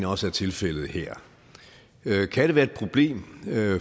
også er tilfældet her kan det være et problem